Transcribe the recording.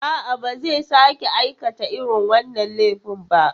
A'a, ba zai sake aikata irin wannan laifin ba.